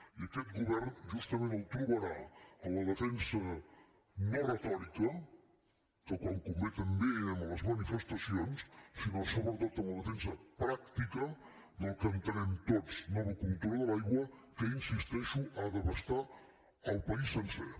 i aquest govern justament el trobarà en la defensa no retòrica que quan convé també anem a les manifestacions sinó sobretot en la defensa pràctica del que entenem tots com a nova cultura de l’aigua que hi insisteixo ha d’abastar el país sencer